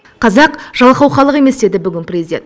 қазақ жалқау халық емес деді бүгін президент